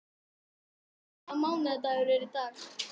Jóríður, hvaða mánaðardagur er í dag?